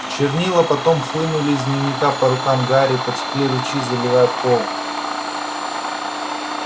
чернила потоком хлынули из дневника по рукам гарри потекли ручьи заливая пол